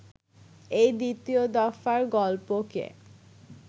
এই দ্বিতীয় দফার গল্পকে